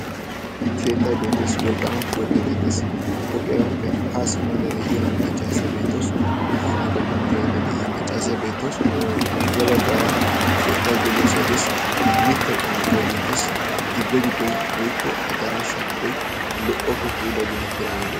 keettay beettees, wolqqaama pooqiyaa beetees pooqiyaabaappe haa simmada de'iya maccaasiyaa beettee.s makiinaa gelanau yaidda de'iya maccaasiyaa beettees. ya baggaara keettai geliyoosay dees mittaykka woggay beetees gibbe giddoi woikko adaraashsha giddoi lo"oppe puula geetetti daagee bee